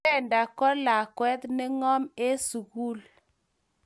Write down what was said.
Brenda ko lakwet ne ngom en sukul